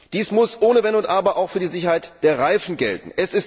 Dies muss ohne Wenn und Aber auch für die Sicherheit der Reifen gelten.